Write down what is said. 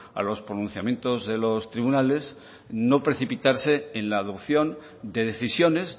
a los pronunciamientos de los tribunales no precipitarse en la adopción de decisiones